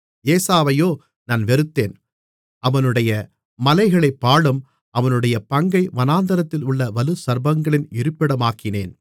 ஏசாவையோ நான் வெறுத்தேன் அவனுடைய மலைகளைப் பாழும் அவனுடைய பங்கை வனாந்தரத்திலுள்ள வலுசர்ப்பங்களின் இருப்பிடமாக்கினேன்